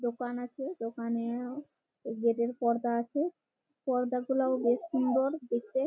দোকান আছে দোকানে-ও গেটের পর্দা আছে পর্দাগুলা ও বেশ সুন্দর দেখতে।